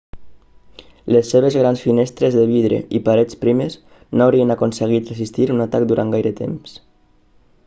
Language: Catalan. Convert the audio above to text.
les seves grans finestres de vidre i parets primes no haurien aconseguit resistir un atac durant gaire temps